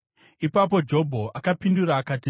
Ipapo Jobho akapindura akati: